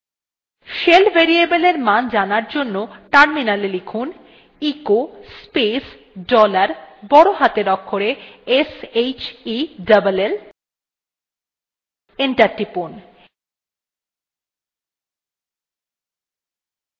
shell variable এর মান জানার জন্য terminal লিখুন